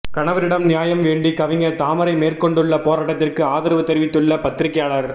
கணவரிடம் நியாயம் வேண்டி கவிஞர் தாமரை மேற்கொண்டுள்ள போராட்டத்திற்கு ஆதரவு தெரிவித்துள்ள பத்திரிக்கையாளர்